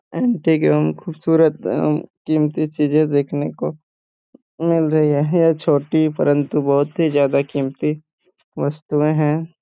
Antique एवं खूबसूरत एवं कीमती चीजें देखने को मिल रही है यह छोटी परंतु बहुत ही ज्यादा कीमती वस्तुएं हैं।